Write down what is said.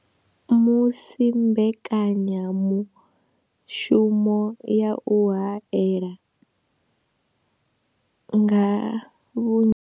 Musi mbekanya mushumo ya u haela nga vhunzhi.